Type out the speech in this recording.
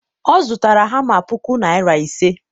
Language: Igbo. ọ zụtara hama puku naira ise.